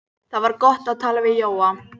Það var gott að tala við Jóa.